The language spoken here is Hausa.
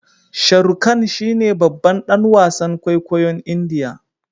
Sharukan shine babban dan wasan kwaikwayon indiya